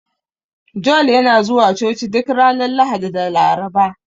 Joel yana zuwa Coci duk ranar Lahadi da Laraba.